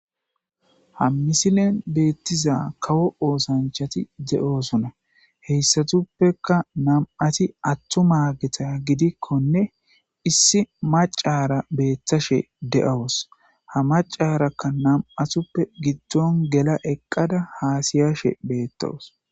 Ha misilen beettiza kawo oosanchati de'oosona heyssatuppeka namati attuma geta gidikkonne issi macara beettashe de'awos ha macarakka nam'atuppe giddon gela eqqada haasiyashe beettowos